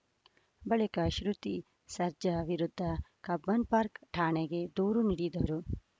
ಬಳಿಕ ಶ್ರುತಿ ಸರ್ಜಾ ವಿರುದ್ಧ ಕಬ್ಬನ್‌ಪಾರ್ಕ್ ಠಾಣೆಗೆ ದೂರು ನೀಡಿದ್ದರು